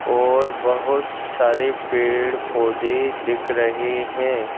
और बहुत सारे पेड़-पौधे दिख रहे हैं।